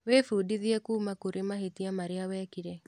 Wĩbundithie kuuma kũrĩ mahĩtia marĩa wekire.